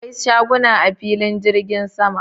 Akwai shaguna a filin jirgin sama.